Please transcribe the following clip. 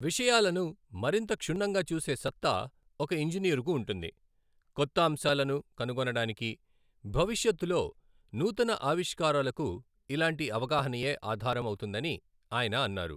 విషయాలను మరింత క్షుణ్ణంగా చూసే సత్తా ఒక ఇంజినీరుకు ఉంటుంది, కొత్త అంశాలను కనుగొనడానికి, భవిష్యత్తులో నూతన ఆవిష్కారాలకు ఇలాంటి అవగాహనయే ఆధారం అవుతుందని ఆయన అన్నారు.